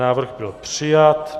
Návrh byl přijat.